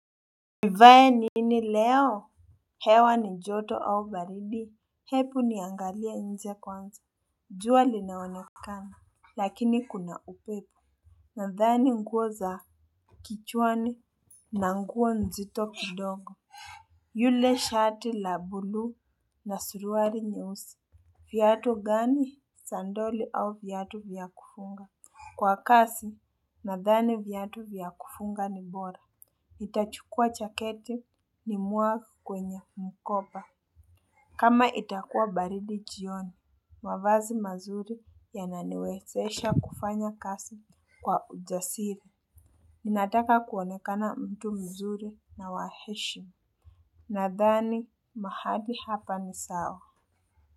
Nivae nini leo? Hewa ni joto au baridi? Hepu niangalie nje kwanza. Jua linaonekana. Lakini kuna upepo. Nadhani nguo za. Kichwani na nguo nzito kidogo. Yule shati la buluu na suruari nyeusi. Viatu gani? Sandoli au viatu vya kufunga? Kwa kasi, nadhani viatu vya kufunga ni bora. Nitachukua chaketi nimwage kwenye mkoba. Kama itakuwa baridi jioni, mavazi mazuri yananiwezesha kufanya kasi kwa ujasiri. Ninataka kuonekana mtu mzuri na wa heshima. Nadhani mahali hapa ni sawa.